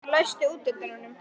Járngrímur, læstu útidyrunum.